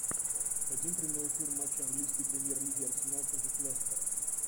хотим прямой эфир матча английской премьер лиги арсенал против лестера